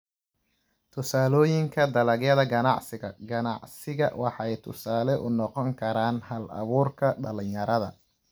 Tusaalooyinka Dalagyada Ganacsiga Ganacsiga waxay tusaale u noqon karaan hal-abuurka dhalinyarada.